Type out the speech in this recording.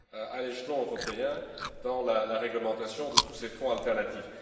à l'échelon européen, dans la réglementation de tous ces fonds alternatifs.